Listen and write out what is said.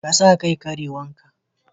Ka sa kai kerawan ka.